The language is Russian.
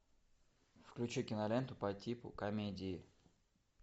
включи киноленту по типу комедии